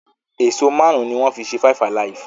Èso márùn ní wón fí ṣe five alive.